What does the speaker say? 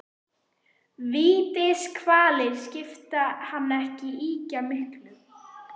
Vítiskvalir skipta hann ekki ýkja miklu.